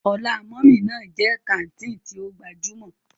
Ọlá mummy ná jẹ́ kàńtìnì tí ó gbajúmọ̀.